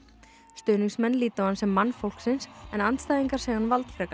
stuðningsmenn líta á hann sem mann fólksins en andstæðingar segja hann